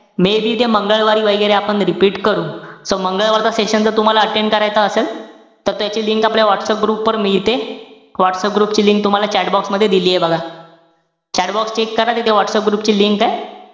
Maybe ते मंगळवारी वैगेरे आपण repeat करू. So मंगळवारचा session जर तुम्हाला attend करायचा असेल. त त्याची link आपल्या व्हाट्सअप group वर मिळते. व्हाट्सअप group ची link तूम्हाला chatbox मध्ये दिलीय बघा. Cahtbox check करा तिथे व्हाट्सअप group ची link ए.